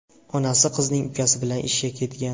Onasi qizning ukasi bilan ishga ketgan.